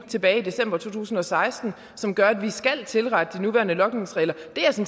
tilbage i december to tusind og seksten som gør at vi skal tilrette de nuværende logningsregler